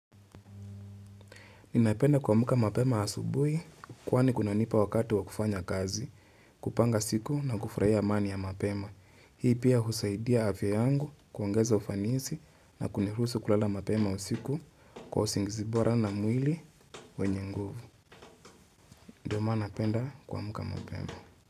Ninapenda kuamka mapema asubuhi, kwani kunanipa wakati wa kufanya kazi, kupanga siku na kufurahia amani ya mapema. Hii pia husaidia afya yangu, kuongeza ufanisi na kuniruhusu kulala mapema usiku kwa usingizi bora na mwili wenye nguvu. Ndio maana napenda kuamka mapema.